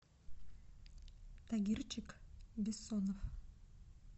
тагирчик бессонов